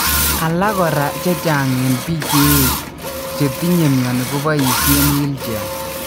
Alak kora chechang en pik cheech chetinye mioni kopoisien wheelchair.